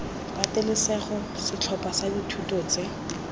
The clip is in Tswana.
patelesego setlhopha sa dithuto tse